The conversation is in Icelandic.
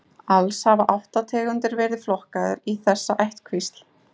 Alls hafa átta tegundir verið flokkaðar í þessa ættkvísl.